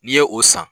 N'i ye o san